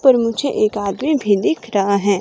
पर मुझे एक आगे भी दिख रहा है।